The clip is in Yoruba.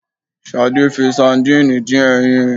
Sadẹ́ fi sadiini dín ẹyin